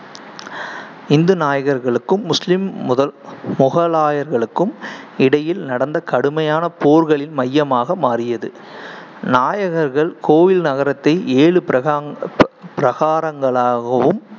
இந்து நாயக்கர்களுக்கும் முஸ்லீம் முத~ முகலாயர்களுக்கும் இடையில் நடந்த கடுமையான போர்களின் மையமாக மாறியது நாயக்கர்கள் கோயில் நகரத்தை ஏழு பிரகாங்க்~ பிரகாரங்களாகவும்